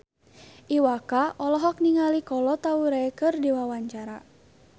Iwa K olohok ningali Kolo Taure keur diwawancara